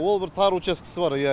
ол бір тар уческісі бар иә